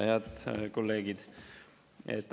Head kolleegid!